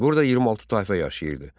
Burada 26 tayfa yaşayırdı.